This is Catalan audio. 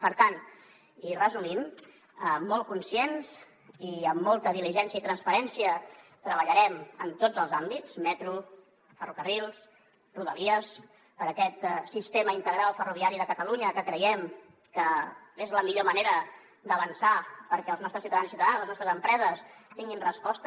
per tant i resumint molt conscients i amb molta diligència i transparència treballarem en tots els àmbits metro ferrocarrils rodalies per aquest sistema integral ferroviari de catalunya que creiem que és la millor manera d’avançar perquè els nostres ciutadans i ciutadanes les nostres empreses tinguin resposta